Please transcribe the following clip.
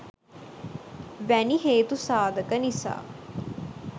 වැනි හේතු සාධක නිසා